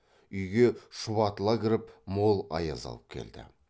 үйге шұбатыла кіріп мол аяз алып келді